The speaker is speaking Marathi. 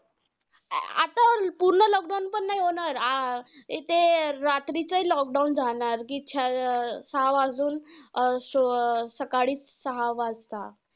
नाही होणार. आह ते रात्री चं lockdown जाणार. कि अं सहा वाजून सकाळी सहा वाजता.